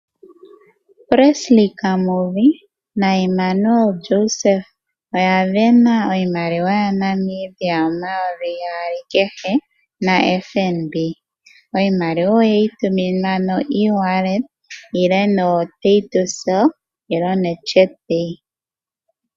Presley Kamuvi na Immanuel Joseph oya sindana. Iimaliwa yaNamibia omayovi gaali kehe na FNB. Iimaliwa oyeyi tuminwa koongodhi dhawo.